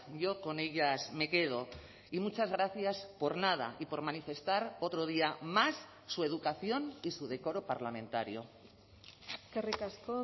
yo con ellas me quedo y muchas gracias por nada y por manifestar otro día más su educación y su decoro parlamentario eskerrik asko